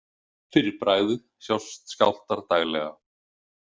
Fyrir bragðið sjást skjálftar daglega.